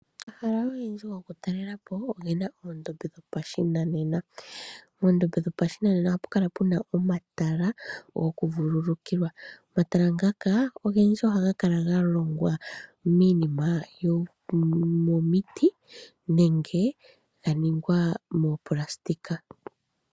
Omahala ogendji gokutalela po, oge na oondombe dhopashinanena. Moondombe dho pashinanena oha pu kala pena omatala goku vululukilwa. Omatala ngaka ogendji oha ga kala ga longwa miinima yomomiti nenge ga ningwa moopalasitika.